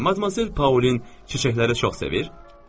Madmazel Paulin çiçəkləri çox sevir?